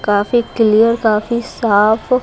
काफी क्लियर काफी साफ--